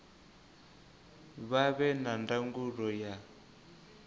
vha vhe na ndangulo ya